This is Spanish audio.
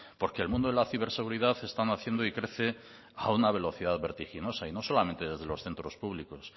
porque el mundo de la ciberseguridad está naciendo y crece a una velocidad vertiginosa y no solamente desde los centros públicos